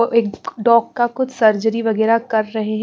एक डॉग का कुछ सर्जरी वगैरह कर रहे है।